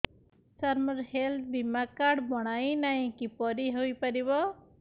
ସାର ମୋର ହେଲ୍ଥ ବୀମା କାର୍ଡ ବଣାଇନାହିଁ କିପରି ହୈ ପାରିବ